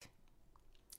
DR2